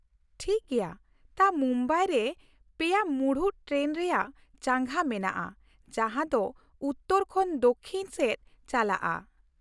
ᱴᱷᱤᱠ ᱜᱮᱭᱟ, ᱛᱟ ᱢᱩᱢᱵᱟᱭ ᱨᱮ ᱯᱮᱭᱟ ᱢᱩᱬᱩᱫ ᱴᱨᱮᱱ ᱨᱮᱭᱟᱜ ᱪᱟᱸᱜᱟ ᱢᱮᱱᱟᱜᱼᱟ ᱡᱟᱦᱟᱸ ᱫᱚ ᱩᱛᱛᱚᱨ ᱠᱷᱚᱱ ᱫᱚᱠᱽᱠᱷᱤᱱ ᱥᱮᱫ ᱪᱟᱞᱟᱜᱼᱟ ᱾